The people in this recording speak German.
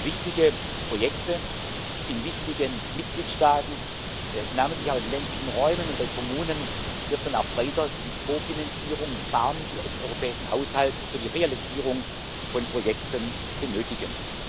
Für wichtige Projekte in wichtigen Mitgliedstaaten, namentlich auch in ländlichen Räumen und bei Kommunen, wird man auch weiter die Kofinanzierung und Barmittel aus dem europäischen Haushalt für die Realisierung von Projekten benötigen.